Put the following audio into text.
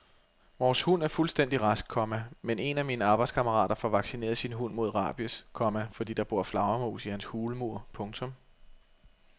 Vores hund er fuldstændig rask, komma men en af mine arbejdskammerater får vaccineret sin hund mod rabies, komma fordi der bor flagermus i hans hulmur. punktum